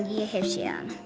ég